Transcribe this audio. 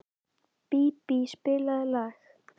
Bíbí, spilaðu lag.